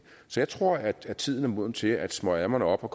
så jeg tror at tiden er moden til at smøge ærmerne op og